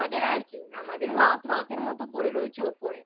আর কি আমাদের রথ রথের মতো পরে রয়েছে ওপরে